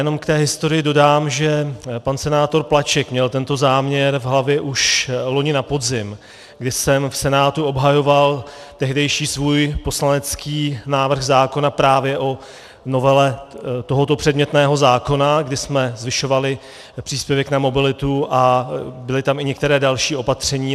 Ještě k té historii dodám, že pan senátor Plaček měl tento záměr v hlavě už loni na podzim, kdy jsem v Senátu obhajoval tehdejší svůj poslanecký návrh zákona právě o novele tohoto předmětného zákona, kdy jsme zvyšovali příspěvek na mobilitu, a byla tam i některé další opatření.